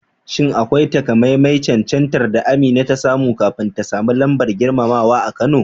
Shin akwai takamaiman cancantar da Amina ta samu kafin ta sami lambar girmamawa a Kano?